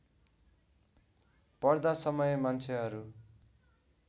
पर्दा समय मान्छेहरू